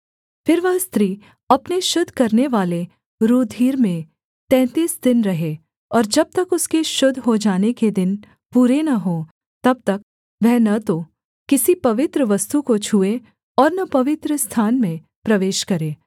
फिर वह स्त्री अपने शुद्ध करनेवाले रूधिर में तैंतीस दिन रहे और जब तक उसके शुद्ध हो जाने के दिन पूरे न हों तब तक वह न तो किसी पवित्र वस्तु को छूए और न पवित्रस्थान में प्रवेश करे